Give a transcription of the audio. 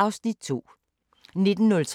Radio24syv